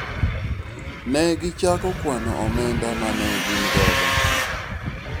ne gichako kwano omenda mane gin godo